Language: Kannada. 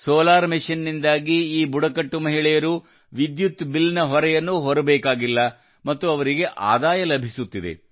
ಸೋಲಾರ್ ಮೆಷಿನ್ನಿಂದಾಗಿ ಈ ಬುಡಕಟ್ಟು ಮಹಿಳೆಯರು ವಿದ್ಯುತ್ ಬಿಲ್ನ ಹೊರೆಯನ್ನು ಹೊರಬೇಕಾಗಿಲ್ಲ ಮತ್ತು ಅವರಿಗೆ ಆದಾಯ ಲಭಿಸುತ್ತಿದೆ